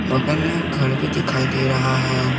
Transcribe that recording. बगल में घर भी दिखाई दे रहा है।